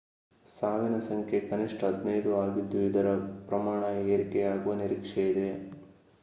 ಸಾವಿನ ಸಂಖ್ಯೆ ಕನಿಷ್ಠ 15 ಆಗಿದ್ದು ಇದರ ಪ್ರಮಾಣ ಏರಿಕೆಯಾಗುವ ನಿರೀಕ್ಷೆಯಿದೆ